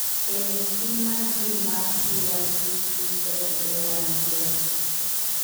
Ee, pim mar gene mar CYP27A1 yudore.